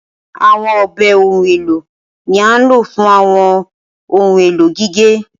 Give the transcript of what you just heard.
Awọn ọbẹ ohun elo ni a lo fun awọn ohun elo gige.